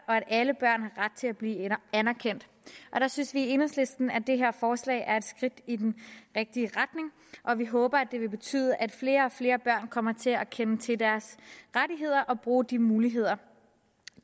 at alle børn har ret til at blive anerkendt der synes vi i enhedslisten at det her forslag er et skridt i den rigtige retning og vi håber at det vil betyde at flere og flere børn kommer til at kende til deres rettigheder og bruger de muligheder